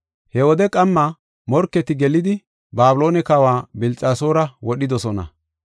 He wode qamma morketi gelidi, Babiloone kawa Bilxasoora wodhidosona.